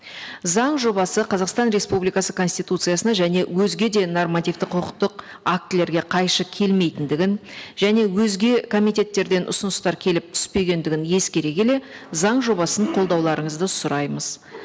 заң жобасы қазақстан республикасы конституциясына және өзге де нормативті құқықтық актілерге қайшы келмейтіндігін және өзге комитеттерден ұсыныстар келіп түспегендігін ескере келе заң жобасын қолдауларыңызды сұраймыз